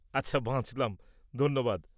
আচ্ছা, বাঁচলাম, ধন্যবাদ!